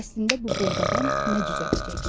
əslində bu buğdadan nə cücərəcək?